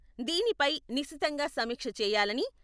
దీనిపై నిశితంగా సమీక్ష చేయాలని..